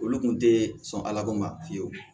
Olu kun tee sɔn ala ko ma fiyewu